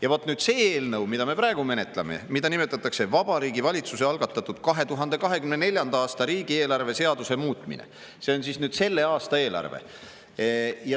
Ja vot nüüd see eelnõu, mida me praegu menetleme, mida nimetatakse Vabariigi Valitsuse algatatud 2024. aasta riigieelarve seaduse muutmise seaduse eelnõuks, see on selle aasta eelarve.